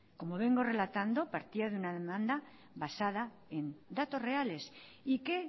como vengo relatando partía de una demanda basada en datos reales y que